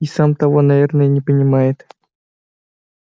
и сам того наверное не понимает